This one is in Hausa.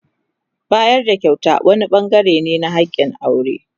Bayar da kyauta wani bangare ne na hakin aure.